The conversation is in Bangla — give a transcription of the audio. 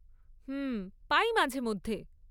হুম, পাই, মাঝেমধ্যে।